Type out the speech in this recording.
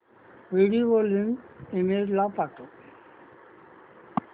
video link email ला पाठव